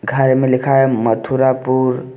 घर में लिखा है मथुरापुर।